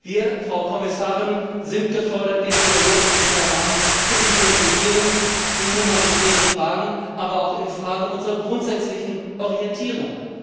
Wir, Frau Kommissarin, sind gefordert, den Dialog mit Taiwan zu intensivieren in humanitären Fragen, aber auch in Fragen unserer grundsätzlichen Orientierung.